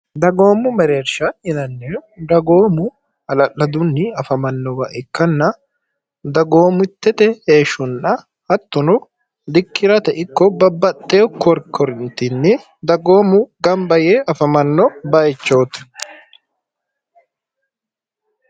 dagoommu mereersha inannie dhagoomu ala'ladunni afamannowa ikkanna dagoomuttete heeshshunna hattuno likkirate ikko babbaxxeeu koorkorintinni dagoomu gamba yee afamanno bayichooti